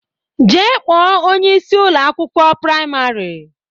Jee kpọọ onyeisi Ụlọ akwụkwọ praịmarị!